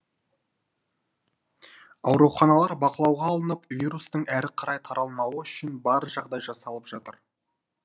ауруханалар бақылауға алынып вирустың әрі қарай таралмауы үшін бар жағдай жасалып жатыр